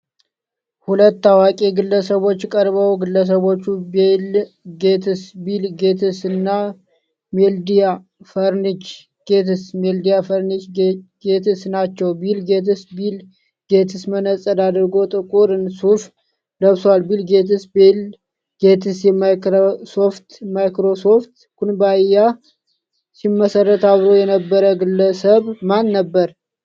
ሁለት ታዋቂ ግለሰቦች ቀርበው ግለሰቦቹ ቢል ጌትስ (ቢል ጌትስ) እና ሜሊንዳ ፈረንች ጌትስ(ሜሊንዳ ፍሬንችጌትስ) ናቸው። ቢል ጌትስ (ቢል ጌትስ) መነጽር አድርጎ ጥቁር ሱፍ ለብሷል። ቢል ጌትስ (ቢል ጌትስ) የማይክሮሶፍት (ማይክሮሶፍት) ኩባንያን ሲመሰርት አብሮት የነበረው ግለሰብ ማን ነበር?